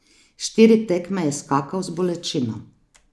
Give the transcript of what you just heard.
Štiri tekme je skakal z bolečino.